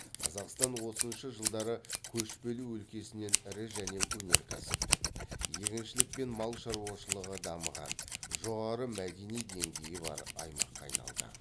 қазақстан отызыншы жылдары көшпелі өлкесінен ірі және өнеркәсіптік егіншілік пен мал шаруашылығы дамыған жоғары мәдени деңгейі бар аймаққа айналды